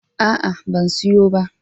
A'a, ban siyo ba.